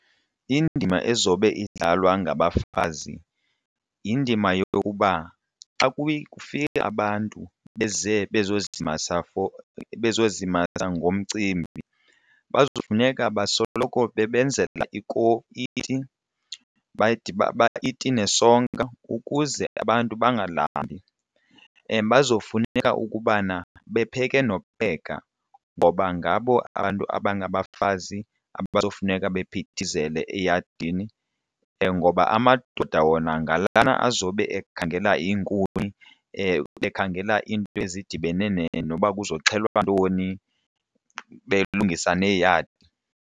Indima ezobe idlalwa ngabafazi yindima yokuba xa kufika abantu beze bezozimasa bezozimasa ngomcimbi kufuneka basoloko bebenzela iti iti nesonka ukuze abantu bengalambi. Bazofuna ukubana bepheke nokupheka ngoba ngabo abantu abangabafazi abazofuneka baphithizele eyadini ngoba amadoda wona ngale azobe ekhangela iinkuni, ekhangela iinto ezidibene noba kuxhelwa ntoni belungisa neeyadi.